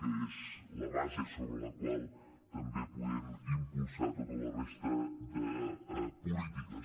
que és la base sobre la qual també podem impulsar tota la resta de polítiques